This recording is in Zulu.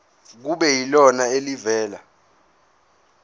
kube yilona elivela